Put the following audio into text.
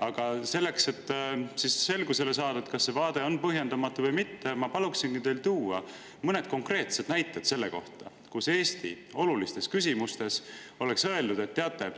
Aga selleks, et selgust saada, kas see vaade on põhjendamatu või mitte, ma paluksin teil tuua mõned konkreetsed näited selle kohta, kui Eesti on olulises küsimuses öelnud, et teate,